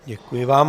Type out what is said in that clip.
Děkuji vám.